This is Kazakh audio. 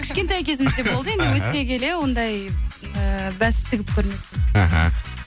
кішкентай кезімізде болды енді өсе келе ондай эээ бәс тігіп көрмеппін аха